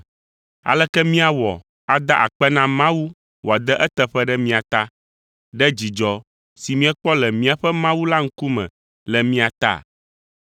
Aleke míawɔ ada akpe na Mawu wòade eteƒe ɖe mia ta, ɖe dzidzɔ si míekpɔ le míaƒe Mawu la ŋkume le mia ta?